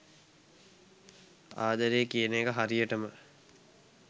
ආදරය කියන එක හරියටම